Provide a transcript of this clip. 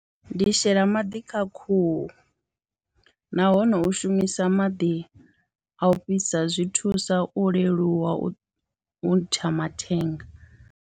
Ndi shela maḓi kha khuhu nahone u shumisa maḓi a u fhisa zwi thusa u leluwa u ntsha mathenga.